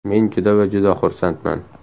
Men juda va juda xursandman.